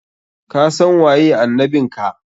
Kasan waye annabin ka!